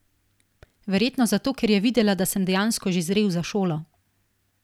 Verjetno zato, ker je videla, da sem dejansko že zrel za šolo.